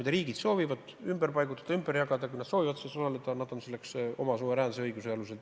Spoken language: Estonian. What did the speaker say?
Kui riigid soovivad kedagi ümber paigutada, ümber jagada, kui nad soovivad selles osaleda, siis nad võivad seda oma suveräänse õiguse alusel teha.